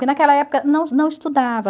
Porque naquela época não não estudava.